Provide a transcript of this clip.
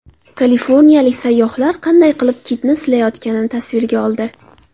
Kaliforniyalik sayyohlar qanday qilib kitni silayotganini tasvirga oldi.